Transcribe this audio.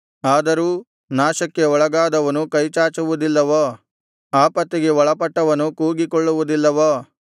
ಆದರೂ ನಾಶಕ್ಕೆ ಒಳಗಾದವನು ಕೈಚಾಚುವುದಿಲ್ಲವೋ ಆಪತ್ತಿಗೆ ಒಳಪಟ್ಟವನು ಕೂಗಿಕೊಳ್ಳುವುದಿಲ್ಲವೋ